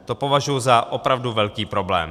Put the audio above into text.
To považuji za opravdu velký problém.